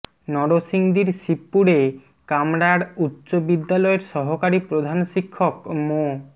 নরসিংদীর শিবপুরে কামরাব উচ্চ বিদ্যালয়ের সহকারী প্রধান শিক্ষক মো